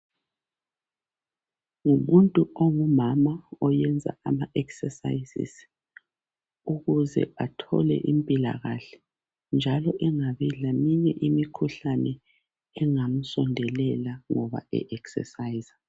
ngumuntu ongumama oyenza ama exercises ukuze athole impilakahle njalo engabi leminye imikhuhlane engamsondelela ngoba e exerciser